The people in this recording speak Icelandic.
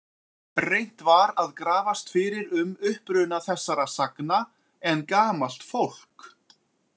Reynt var að grafast fyrir um uppruna þessara sagna en gamalt fólk.